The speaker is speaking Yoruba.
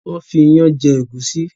Wón fí iyán jé egusi.